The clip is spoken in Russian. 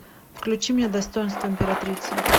включи мне достоинство императрицы